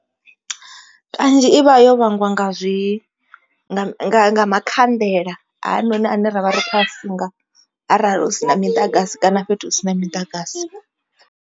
Kanzhi i vha yo vhangiwa nga zwi nga makhanḓela hanoni ane ravha ri kho a funga arali husina miḓagasi kana fhethu hu si na miḓagasi.